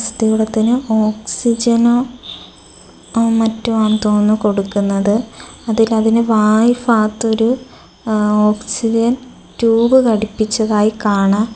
അസ്ഥികൂടത്തിന് ഓക്സിജനോ മറ്റോ ആണെന്ന് തോന്നുന്നു കൊടുക്കുന്നത് അതിൽ അതിന് വായഫാഗത്തൊരു ആ ഓക്സിജൻ ട്യൂബ് ഘടിപ്പിച്ചതായി കാണാം.